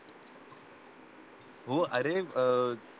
हो अरे